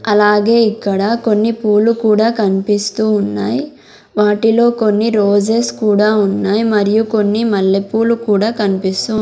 అలాగే ఇక్కడ కొన్ని పూలు కూడా కనిపిస్తూ ఉన్నాయ్ వాటిలో కొన్ని రోజెస్ కూడా ఉన్నాయ్ మరియు కొన్ని మల్లెపూలు కూడా కనిపిస్సు--